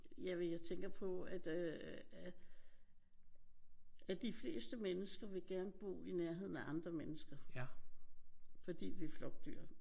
Jamen jeg tænker på at øh at de fleste mennesker vil gerne bo i nærheden af andre mennesker fordi vi er flokdyr